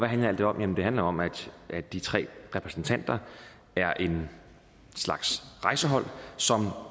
handler alt det om jamen det handler om at de tre repræsentanter er en slags rejsehold som